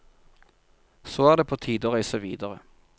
Så er det på tide å reise videre.